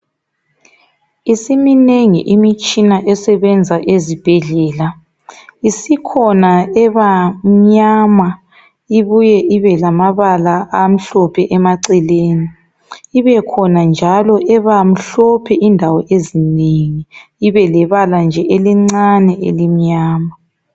Isiminengi imitshina esebenza ezibhendlela isikhona ebamnyama ibuye ibe lamabala amhlophe emaceleni ibekhona njalo ebamhlophe indawo ezinengi ibe lebala nje elimnyama.